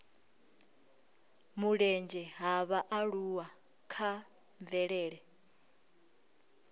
mulenzhe ha vhaaluwa kha mvelele